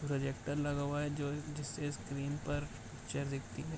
Projector लगा हुआ है जो जिससे स्क्रीन पर पिक्चर दिखती है।